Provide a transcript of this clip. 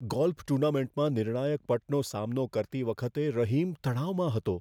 Golf ટૂર્નામેન્ટમાં નિર્ણાયક પટનો સામનો કરતી વખતે રહીમ તણાવમાં હતો.